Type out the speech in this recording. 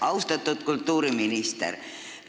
Austatud kultuuriminister!